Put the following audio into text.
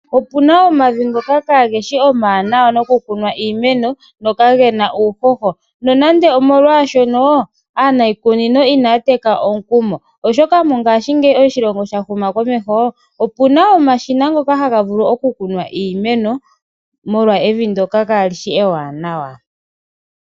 Opuna omavi ngoka kaageshi omawanawa nokukuna iimeno noka gena uuhoho nonande omolwashono aaniikunino anaya teka omukumo oshoka mongaashingeyi oshilongo oshahuma komeho. Opuna omashina ngoka haga vulu okukuna iimeno molwa evi ndoka kaalishi ewaanawa.